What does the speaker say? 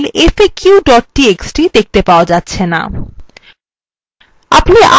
এখন file faq txt দেখতে পাওয়া যাচ্ছেনা